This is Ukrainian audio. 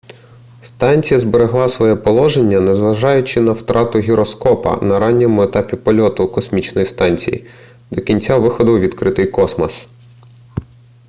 станція зберегла своє положення незважаючи на втрату гіроскопа на ранньому етапі польоту космічної станції до кінця виходу у відкритий космос